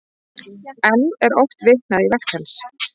Enn er oft vitnað í verk hans.